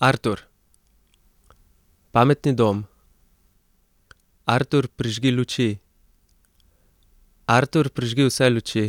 Artur. Pametni dom. Artur, prižgi luči. Artur, prižgi vse luči.